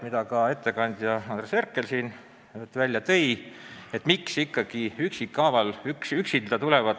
Miks ikkagi esitatakse meile enam-vähem samal teemal kaks eraldi seaduseelnõu?